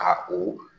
Ka o